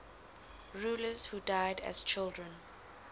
rulers who died as children